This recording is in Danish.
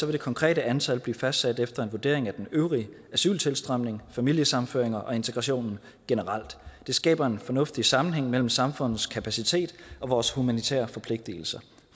det konkrete antal blive fastsat efter en vurdering af den øvrige asyltilstrømning familiesammenføringer og integrationen generelt det skaber en fornuftig sammenhæng mellem samfundets kapacitet og vores humanitære forpligtelser